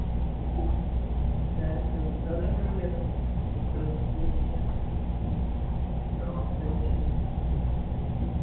മ്മ് ചെ നിങ്ങക്കൊക്കെ എങ്ങനെ ഇണ്ടായിന് economics ന്റെ